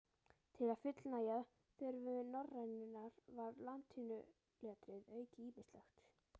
Til að fullnægja þörfum norrænunnar var latínuletrið aukið ýmislega.